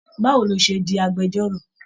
Báwo ló ṣe di agbẹ̀jọ́ro?